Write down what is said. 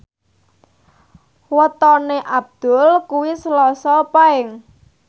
wetone Abdul kuwi Selasa Paing